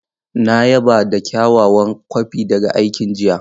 Na yaba da kyawawan kwafi daga aikin jiya.